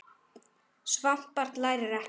Svangt barn lærir ekkert.